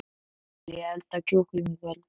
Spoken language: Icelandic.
Viljiði elda kjúkling í kvöld?